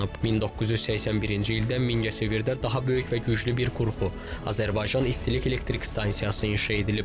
1981-ci ildə Mingəçevirdə daha böyük və güclü bir qurğu Azərbaycan İstilik Elektrik Stansiyası inşa edilib.